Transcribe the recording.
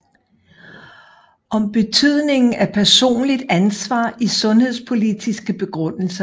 Om betydningen af personligt ansvar i sundhedspolitiske begrundelser